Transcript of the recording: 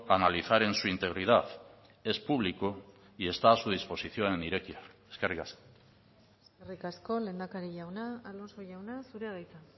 analizar en su integridad es público y está a su disposición en irekia eskerrik asko eskerrik asko lehendakari jauna alonso jauna zurea da hitza